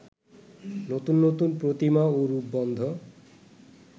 নতুন নতুন প্রতিমা ও রূপবন্ধ